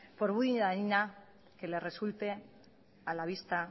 por muy dañina que le resulte a la vista